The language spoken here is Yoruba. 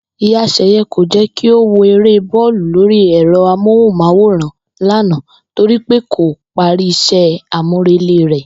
Ìyá S̩è̩ye̩ kò jé̩ kí ó wo eré bó̩ò̩lù lórí è̩ro̩ amóhùn-máwòràn lánàá torí pé kò parí is̩é̩ àmúrelé rè̩